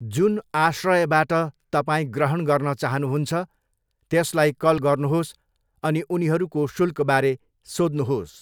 जुन आश्रयबाट तपाईँ ग्रहण गर्न चाहनुहुन्छ, त्यसलाई कल गर्नुहोस् अनि उनीहरूको शुल्कबारे सोध्नुहोस्।